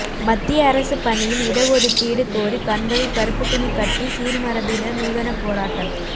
மத்திய அரசு பணியில் இடஒதுக்கீடு கோரி கண்களில் கருப்பு துணி கட்டி சீர்மரபினர் நூதன போராட்டம்